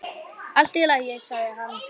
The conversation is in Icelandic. Allt í lagi, sagði hann.